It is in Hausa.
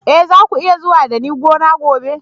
Eh, za ku iya zuwa da ni gona gobe.